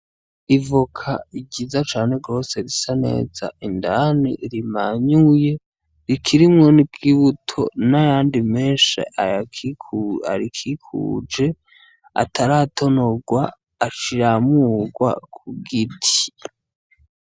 Ivoka igiza cane rwose risa neza indani rimanyuye rikirimwoni bwoibuto n'ayandi menshi arikikuje ataratonorwa aciramurwa ku giti.